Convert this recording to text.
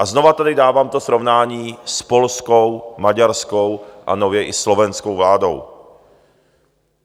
A znovu tady dávám to srovnání s polskou, maďarskou a nově i slovenskou vládou.